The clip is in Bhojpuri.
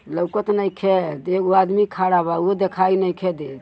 लउकत नइखे दे एगो आदमी खड़ा बा उहो देखाई नइखे देत।